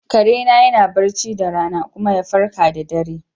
Kare na yana barci da rana kuma ya farke da dare.